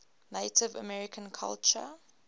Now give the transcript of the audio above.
native american culture